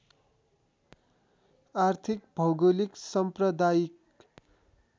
आर्थिक भौगोलिक साम्प्रदायिक